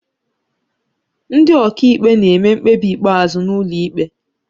Ndị ọkàikpe na-eme mkpebi ikpeazụ n'ụlọ ikpe